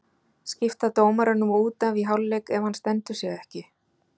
Skipta dómaranum út af í hálfleik ef hann stendur sig ekki?